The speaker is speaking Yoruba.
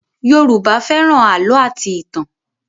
Yoruba fẹ́ràn àlọ́ àti ìtàn